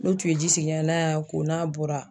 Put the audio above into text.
N'u tun ye ji sigin ɲɛna, n'a y'a ko n'a bɔra